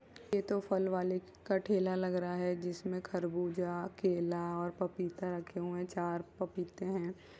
ये तो फल वाले का ठेला लग रहा है। जिसमें खरबूजा केला और पपीता रखे हुए है। चार पपीते है।